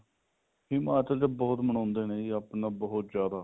ਹਿਮਾਚਲ ਚ ਬਹੁਤ ਮਨਾਉਂਦੇ ਨੇ ਜੀ ਆਪਣਾ ਬਹੁਤ ਜਿਆਦਾ